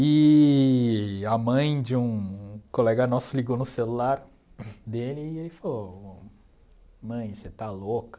Eee a mãe de um colega nosso ligou no celular dele e ele falou Mãe, você está louca?